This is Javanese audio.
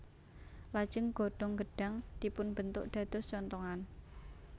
Lajeng godhong gedhang dipunbentuk dados conthongan